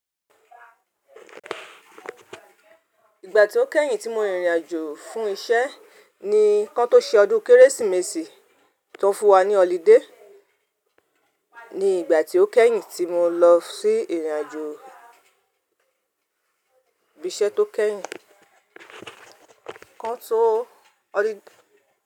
Ìgbà tí ó kẹ́yìn tí mo rìnrìn àjò fún iṣẹ́ ni kán tó ṣe ọdún Kérésìmesì tó fún wa ní ọlidé. Ni ìgbà tí ó kẹ́yìn tí mo lọ sí ìrìnàjò ibi iṣẹ́ tó kẹ́yìn kán tó.